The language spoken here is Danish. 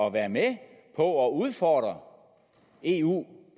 at være med på at udfordre eu